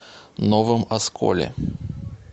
новом осколе